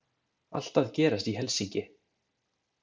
Allt að gerast í Helsinki!